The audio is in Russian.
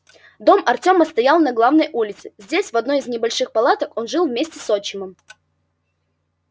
дом артема стоял на главной улице здесь в одной из небольших палаток он жил вместе с отчимом